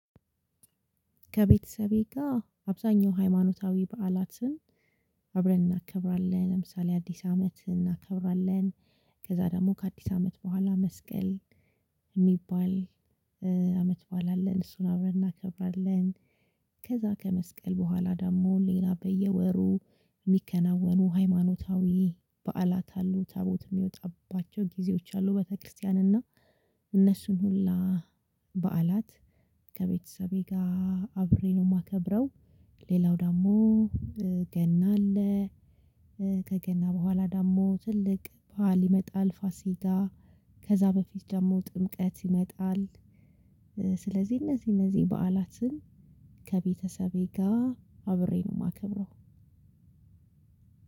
ከቤተሰቤ ጋር አብዛኛው ሃይማኖታዊ በዓላትን አብረን እናከብራለን ለምሳሌ አዲስ አመት እናከብራለን። ከዛ ደግሞ ከአዲስ አመት በኋላ መስቀል የሚባል አመት በዓል አለን እሱን አብረን እናከብራለን። ከዛ ከመስቀል በኋላ ደግሞ ሌላ በየወሩ የሚከናወኑ ሃይማኖታዊ በዓላት አሉ ታቦት የሚወጣባቸው ጊዜዎች አሉ ቤተክርስቲያን እና እነሱን ሁላ በዓላት ከቤተሰቤ ጋር አብሬ ነው የማከብረው። ሌላው ደግሞ ገና አለ። ከገና በኋላ ደግሞ ትልቅ ባህል ይመጣል ፋሲጋ ከዛ በፊት ደግሞ ጥምቀት ይመጣል። ስለዚህ እነዚህ እነዚህ በዓላትን ከቤተሰቤ ጋር አብሬ ነው የማከብረው።